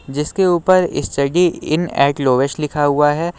जिसके ऊपर study in eight lowest लिखा हुआ है।